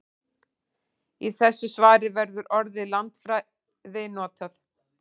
Í þessu svari verður orðið landfræði notað.